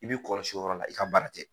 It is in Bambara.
I b bɛ kɔlɔsi yɔrɔ la i ka baara kɛ